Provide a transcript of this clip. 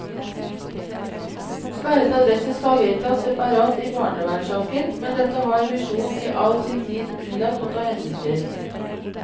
Sperret adresse skal vedtas separat i barnevernssaker, men dette har misjonen i all sin tid unnlatt å ta hensyn til.